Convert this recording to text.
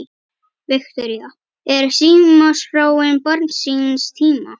Viktoría: Er símaskráin barn síns tíma?